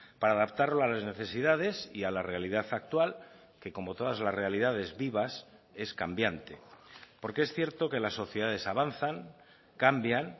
para adaptarlo a las necesidades y a la realidad actual que como todas las realidades vivas es cambiante porque es cierto que las sociedades avanzan cambian